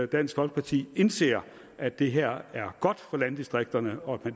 dansk folkeparti indse at det her er godt for landdistrikterne og